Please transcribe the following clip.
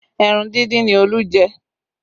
Ẹran dindin ni Olú jẹ